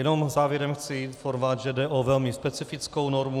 Jenom závěrem chci informovat, že jde o velmi specifickou normu.